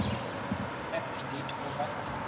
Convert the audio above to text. fact date august